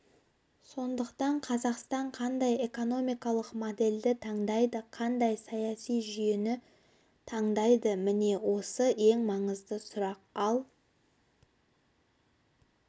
сондықтан қазақстан қандай экономикалық модельді таңдайды қандай саяси жүйені таңдайды міне осы ең маңызды сұрақ ал